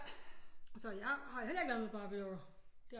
Så jeg har heller ikke leget med Barbiedukker